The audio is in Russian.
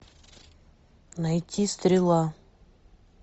найти стрела